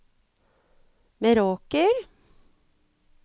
Meråker